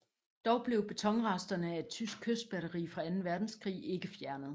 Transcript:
Dog blev betonresterne af et tysk kystbatteri fra anden verdenskrig ikke fjernet